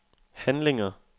handlinger